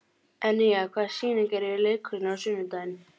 Enja, hvaða sýningar eru í leikhúsinu á sunnudaginn?